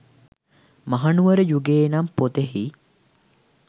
මහනුවර යුගයේ නම් පොතෙහි